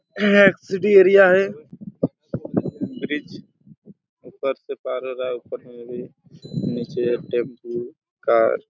यह एक city area हैं ब्रिज ऊपर से पार हो रहा हैं ऊपर में भी निचे टेम्पू कार --